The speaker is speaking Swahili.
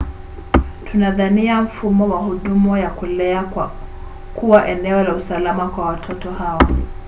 tunadhania mfumo wa huduma ya kulea kuwa eneo la usalama kwa watoto hawa